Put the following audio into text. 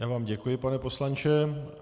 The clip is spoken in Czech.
Já vám děkuji, pane poslanče.